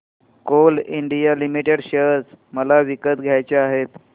Coal India Limited share मला विकत घ्यायचे आहेत